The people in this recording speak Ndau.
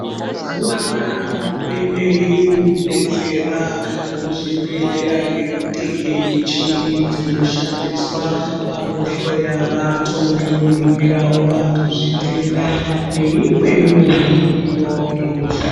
Mazuwaana hurumende irikudetsera muzvibhehlera ngekutenge muchini dzinoshandiswa pakuhloya vantu nekuningirawo vantu zvitenda neimweniwo mudziyo inosha.